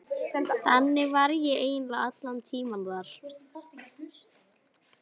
Þannig var ég eiginlega allan tímann þar.